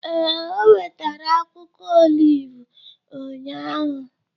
Ee, o wetara akwụkwọ oliv ụnyahụ.